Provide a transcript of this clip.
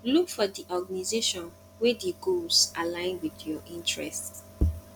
look for di organisation wey di goals align with your interest